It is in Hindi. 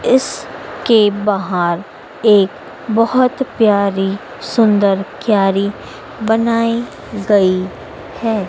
इस के बाहर एक बहोत प्यारी सुंदर क्यारी बनाई गई है।